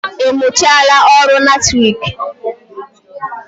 Ị mụchaala ọrụ latriki?